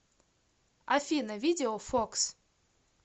афина видео фокс